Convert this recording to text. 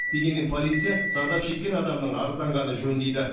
дегенмен полиция зардап шеккен адамның арызданғаны жөн дейді